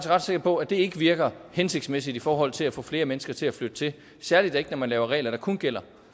ret sikker på at det ikke virker hensigtsmæssigt i forhold til at få flere mennesker til at flytte til særlig ikke når man laver regler der kun gælder